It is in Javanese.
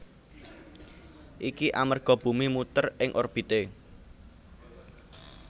Iki amerga bumi muter ing orbité